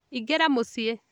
Ingĩra mũciĩ